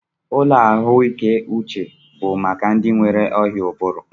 Ụlọ ahụike uche bụ maka ndị nwere ọrịa ụbụrụ